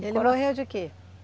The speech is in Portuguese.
Ele morreu de quê?